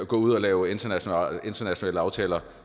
gå ud og lave internationale internationale aftaler